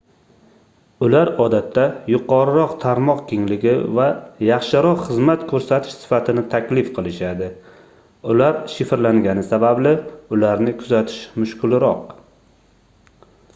ular odatda yuqoriroq tarmoq kengligi va yaxshiroq xizmat koʻrsatish sifatini taklif qilishadi ular shifrlangani sababli ularni kuzatish mushkulroq